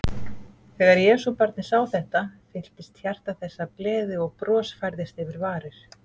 Þegar Jesúbarnið sá þetta, fylltist hjarta þess af gleði og bros færðist yfir varir.